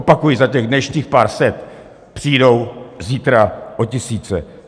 Opakuji, za těch dnešní pár set přijdou zítra o tisíce.